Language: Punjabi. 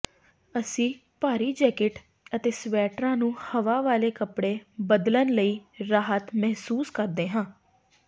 ਅਸੀਂ ਭਾਰੀ ਜੈਕਟ ਅਤੇ ਸਵੈਟਰਾਂ ਨੂੰ ਹਵਾ ਵਾਲੇ ਕੱਪੜੇ ਬਦਲਣ ਲਈ ਰਾਹਤ ਮਹਿਸੂਸ ਕਰਦੇ ਹਾਂ